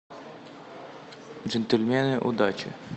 джентльмены удачи